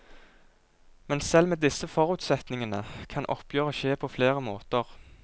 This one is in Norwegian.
Men selv med disse forutsetningene kan oppgjøret skje på flere måter.